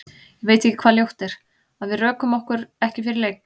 Ég veit ekki hvað ljótt er, að við rökum okkur ekki fyrir leik?